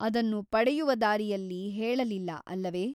ಅದನ್ನು ಪಡೆಯುವ ದಾರಿಯಲ್ಲಿ ಹೇಳಲಿಲ್ಲ ಅಲ್ಲವೆ ?